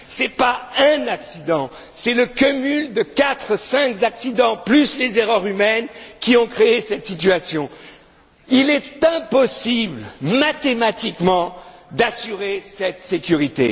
Ce n'est pas un accident, c'est le cumul de quatre, cinq accidents, plus les erreurs humaines, qui a créé cette situation. Il est impossible, mathématiquement, d'assurer cette sécurité.